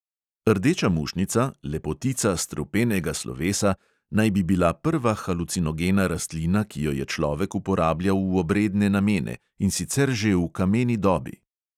Rdeča mušnica, lepotica strupenega slovesa, naj bi bila prva halucinogena rastlina, ki jo je človek uporabljal v obredne namene, in sicer že v kameni dobi.